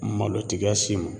Malotigiya s'i ma